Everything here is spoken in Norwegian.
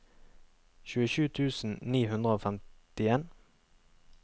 tjuesju tusen ni hundre og femtien